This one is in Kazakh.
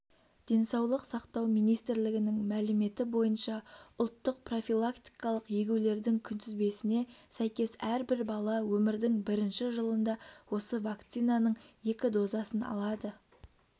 денсаулық сақтау минимстрлігінің мәліметі бойынша ұлттық профилактикалық егулердің күнтізбесіне сәйкес әрбір бала өмірдің бірінші жылында осы вакцинаның екі дозасын алады